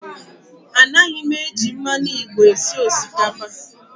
A naghị m eji mmanụ igbo esi osikapa